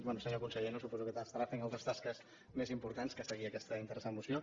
bé senyor conseller no suposo que estarà fent altres tasques més importants que seguir aquesta interessant moció